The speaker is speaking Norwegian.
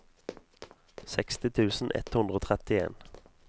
seksti tusen ett hundre og trettien